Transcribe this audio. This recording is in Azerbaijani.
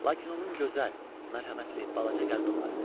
Lakin onun gözəl, mərhəmətli, balaca qəlbi vardı.